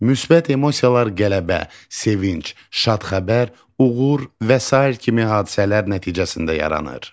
Müsbət emosiyalar qələbə, sevinc, şad xəbər, uğur və sair kimi hadisələr nəticəsində yaranır.